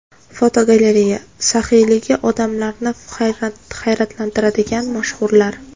Fotogalereya: Saxiyligi odamlarni hayratlantiradigan mashhurlar.